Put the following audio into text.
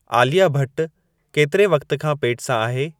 आलिया भट्ट केतिरे वक़्त खां पेट सां आहे